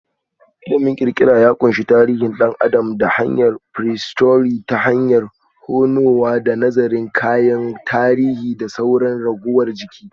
Ilimin kirkira ya ƙunshi tarihin ɗan adam da prehistory ta hanyar tonowa da nazarin kayan tarihi da sauran ragowar jiki.